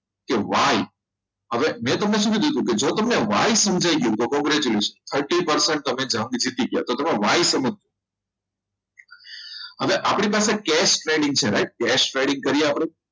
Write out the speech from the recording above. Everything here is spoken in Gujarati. કે why હવે મેં તમને શું કીધું હતું જો તમને why સમજાઈ ગયું તો congratulation thirty percent તમે જંગ જીતી ગયા તો તમે વાઇ સમજો હવે આપણી પાસે cash trading છે write case trading કરી આપણે